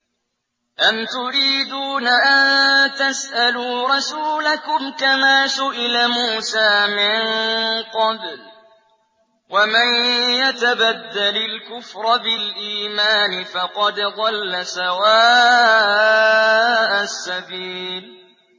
أَمْ تُرِيدُونَ أَن تَسْأَلُوا رَسُولَكُمْ كَمَا سُئِلَ مُوسَىٰ مِن قَبْلُ ۗ وَمَن يَتَبَدَّلِ الْكُفْرَ بِالْإِيمَانِ فَقَدْ ضَلَّ سَوَاءَ السَّبِيلِ